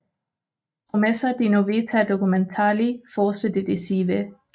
Promessa di novità documentali forse decisive